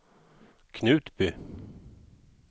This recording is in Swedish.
Knutby